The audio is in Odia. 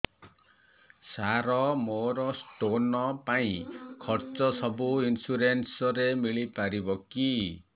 ସାର ମୋର ସ୍ଟୋନ ପାଇଁ ଖର୍ଚ୍ଚ ସବୁ ଇନ୍ସୁରେନ୍ସ ରେ ମିଳି ପାରିବ କି